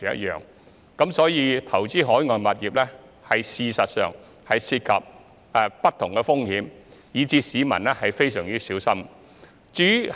因此，投資海外物業事實上涉及不同的風險，市民要非常小心。